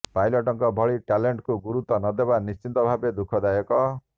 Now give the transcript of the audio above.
ପାଇଲଟଙ୍କ ଭଳି ଟ୍ୟାଲେଣ୍ଟକୁ ଗୁରୁତ୍ୱ ନ ଦେବା ନିଶ୍ଚିତ ଭାବେ ଦୁଃଖଦାୟକ